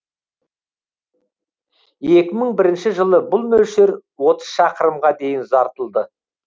екі мың бірінші жылы бұл мөлшер отыз шақырымға дейін ұзартылды